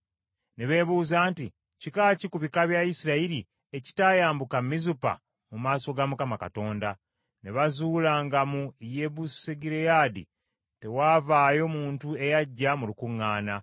Ne beebuuza nti, “Kika ki ku bika bya Isirayiri ekitaayambuka Mizupa mu maaso ga Mukama Katonda?” Ne bazuula nga mu Yabesugireyaadi tewaavaayo muntu eyajja mu lukuŋŋaana.